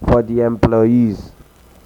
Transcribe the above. for di um employees.